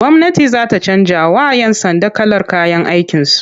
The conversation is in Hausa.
Gwamnati za ta canjawa'yan sanda kalar kayan aikinsu.